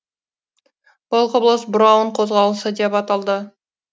бұл құбылыс броун қозғалысы деп аталды